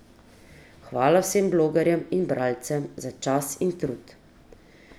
Hvala vsem blogerjem in bralcem za čas in trud.